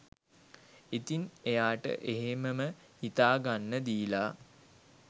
ඉතින් එයාට එහෙමම හිතා ගන්න දීලා